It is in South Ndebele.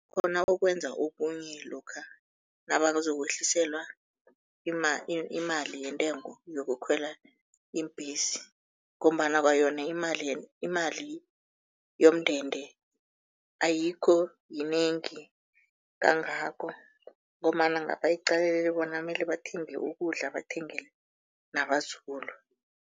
Khona okwenza okunye lokha nabazokwehliselwa imali yentengo yokukhwela iimbhesi ngombana kwayona imali yomndende ayikho yinengi kangako ngombana ngapha iqalelele bona mele bathenge ukudla, bathengele nabazukulu.